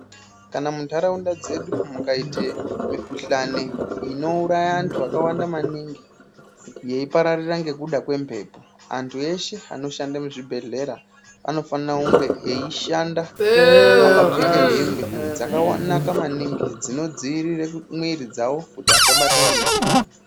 Kana muntaraunda dzedu mukaite mukuhlani inouraya antu akawanda maningi yeipararira ngekuda kwemhepo. Antu eshe anoshanda muzvibhedhlera anofana kunge eishanda akapfeke hembe dzakanaka maningi dzinodziirire mwiiri dzavo kuti asabatwa ngemukuhlani.